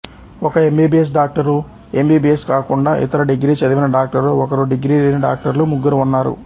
ఒక MBBS doctor MBBS కాకుండా ఇతర డిగ్రీ చదివిన డాక్టరు ఒకరు డిగ్రీ లేని డాక్టర్లు ముగ్గురు ఉన్నారు